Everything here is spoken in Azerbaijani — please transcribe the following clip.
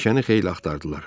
Meşəni xeyli axtardılar.